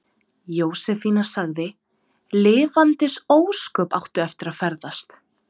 Jósefína sagði: Lifandis ósköp áttu eftir að ferðast.